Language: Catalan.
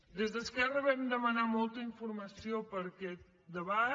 des d’esquerra vam demanar molta informació per a aquest debat